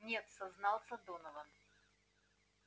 нет сознался донован